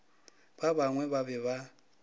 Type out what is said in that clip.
ba bangwe ba be ba